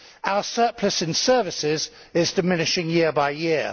Our surplus in services is diminishing year by year.